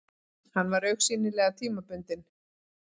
Hann var augsýnilega tímabundinn.